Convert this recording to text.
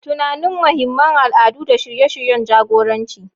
Tunanin muhimman al'adu da shirye-shiryen jagoranci.